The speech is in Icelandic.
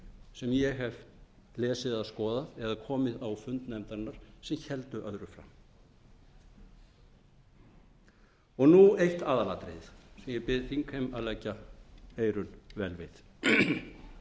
sem ég hef lesið eða skoðað eða komið á fund nefndarinnar sem heldur öðru fram nú eitt aðalatriðið sem ég bið þingheim að leggja eyrun